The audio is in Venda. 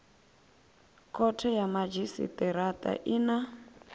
khothe ya madzhisitirata i na